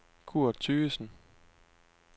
Kurt Thygesen